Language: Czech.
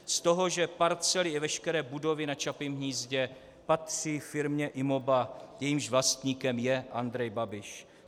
Z toho, že parcely i veškeré budovy na Čapím hnízdě patří firmě Imoba, jejímž vlastníkem je Andrej Babiš.